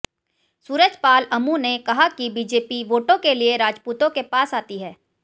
सूरज पाल अमू ने कहा कि बीजेपी वोटों के लिए राजपूतों के पास आती है